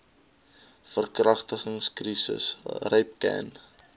verkragtings krisis rapcan